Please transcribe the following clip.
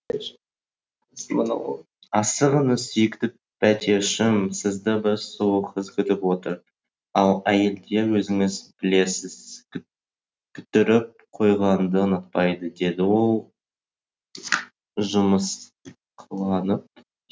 асығыңыз сүйікті пәтершім сізді бір сұлу қыз күтіп отыр ал әйелдер өзіңіз білесіз күттіріп қойғанды ұнатпайды деді ол жымысқыланып